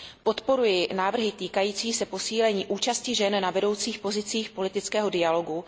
Podporuji návrhy týkající se posílení účasti žen na vedoucích pozicích politického dialogu.